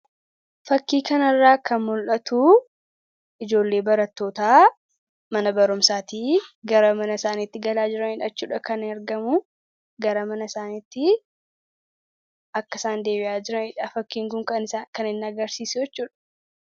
Fakkii kana irraa kan mul'atuu ijoollee baratoota mana barumsaatii gara mana isaaniitti galaa jiraniidha. kan argamu gara mana isaaniitti akkasaan deebi'aa jiranidhaa. Fakkiin kun kaan isaa kan hin agarsiisne.